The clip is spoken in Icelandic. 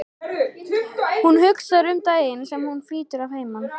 Hún hugsar um daginn sem hún flytur að heiman.